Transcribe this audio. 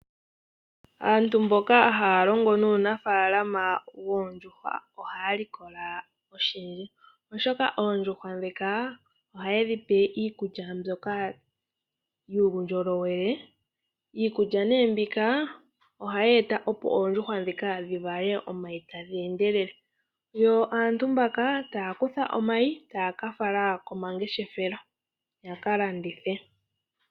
Aantu mboka haya longo nuunafaalama woondjuhwa ohaya likola oshindji, oshoka ohaye dhi pe iikulya mbyoka yuundjolowele. Iikulya nee mbika ohayi ohayi eta opo oondjuhwa dhivale omayi ogendji. Inayi ngaka ohaga ka kandithwa po.